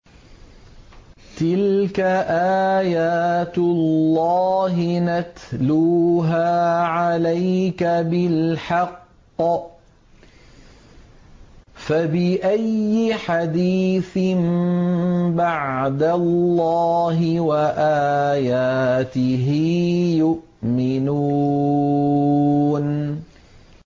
تِلْكَ آيَاتُ اللَّهِ نَتْلُوهَا عَلَيْكَ بِالْحَقِّ ۖ فَبِأَيِّ حَدِيثٍ بَعْدَ اللَّهِ وَآيَاتِهِ يُؤْمِنُونَ